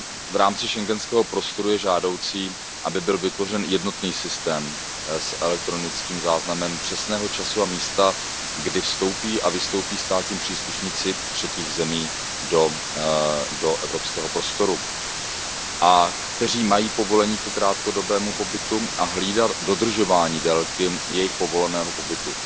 V rámci schengenského prostoru je žádoucí, aby byl vytvořen jednotný systém s elektronickým záznamem přesného času a místa, kdy vstoupí a vystoupí státní příslušníci třetích zemí do evropského prostoru, udělení povolení ke krátkodobému pobytu a hlídání dodržování délky jejich povoleného pobytu.